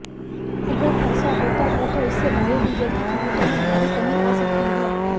अगर ऐसा होता है तो इससे बायोडीजल की कीमतों में भारी कमी आ सकती है